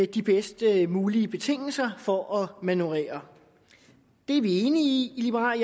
de bedst mulige betingelser for at manøvrere det er vi enige i i liberal